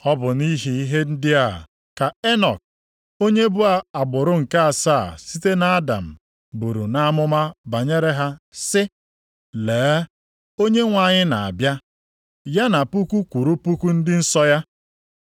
Ọ bụ nʼihi ihe ndị a ka Enọk, onye bụ agbụrụ nke asaa site nʼAdam buru nʼamụma banyere ha sị, “Lee! Onyenwe anyị na-abịa, ya na puku kwụrụ puku ndị nsọ ya.